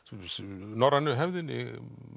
norrænu hefðinni